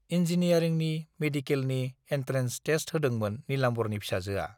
इन्जिनियारिंनि, मेडिकेलनि, entrance test होदोंमोन नीलाम्बरनि फिसाजोआ।